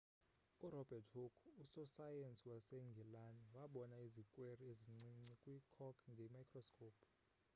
urobert hooke usosayensi wasengilani wabona izikweri ezincinci kwi-cork nge-microscope